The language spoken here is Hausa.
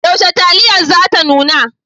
Yaushe taliyar za ta nuna?